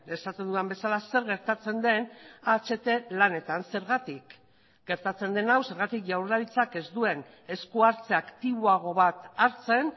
esaten dudan bezala zer gertatzen den aht lanetan zergatik gertatzen den hau zergatik jaurlaritzak ez duen esku hartze aktiboago bat hartzen